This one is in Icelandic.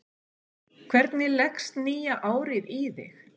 Hvernig leggst nýja árið í þig?